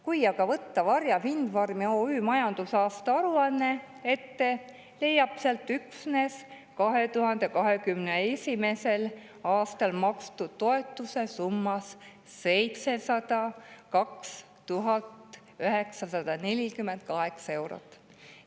Kui aga võtta ette Varja Windfarmi OÜ majandusaasta aruanne, leiab sealt üksnes 2021. aastal makstud toetuse summas 702 948 eurot.